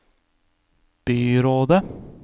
byrådet